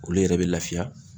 Olu yɛrɛ bɛ lafiya